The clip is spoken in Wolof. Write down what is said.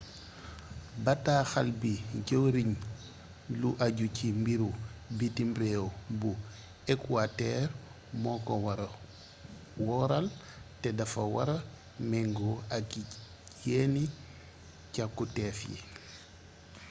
bataaxal bii jëwriñu lu ajju ci mbiru bitim réew bu ekuwatër moo ko wara wóoral te dafa wara mengoo ak yenni càkuteef yi